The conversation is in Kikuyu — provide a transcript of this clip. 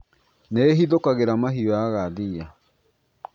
Nĩ ihithũkagĩra mahiũ yaga thiia